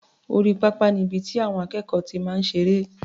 Orí pápá ni ibi tí àwọn akẹ́kọ̀ọ́ ti máa ń ṣeré.